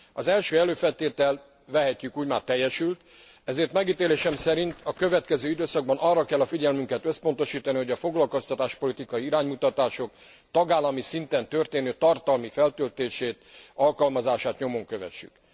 Az első előfeltétel vehetjük úgy már teljesült, ezért megítélésem szerint a következő időszakban arra kell a figyelmünket összpontosítani, hogy a foglalkoztatáspolitikai iránymutatások tagállami szinten történő tartalmi feltöltését, alkalmazását nyomon kövessük.